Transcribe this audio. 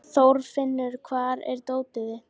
Þorfinnur, hvar er dótið mitt?